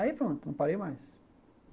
Aí pronto, não parei mais.